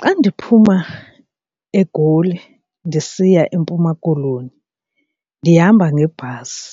Xa ndiphuma eGoli ndisiya eMpuma Koloni ndihamba ngebhasi,